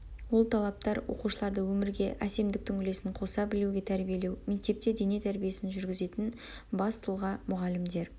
ол талаптар оқушыларды өмірге әсемдіктің үлесін қоса білуге тәрбиелеу мектепте дене тәрбиесін жүргізетін бас тұлға мұғалімдер